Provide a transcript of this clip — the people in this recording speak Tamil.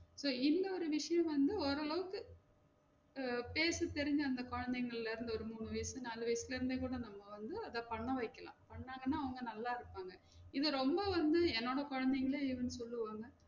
So இன்னொரு விஷியம் வந்து ஓரளவுக்கு அஹ் பேச தெரிஞ்ச அந்த கொழந்தைங்கள்ள இருந்து ஒரு மூணு வயசு நாலு வயசுல இருந்து கூட நம்ம வந்து அத பண்ண வைக்கலாம் பண்ணா தான அவங்க நல்லா இருப்பாங்க, இல்ல ரொம்ப வந்து என்னோட கொழந்தைங்கலே என்ன சொல்லுவாங்க